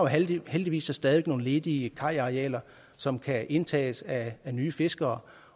heldigvis så stadig nogle ledige kajarealer som kan indtages af nye fiskere